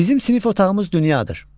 Bizim sinif otağımız dünyadır.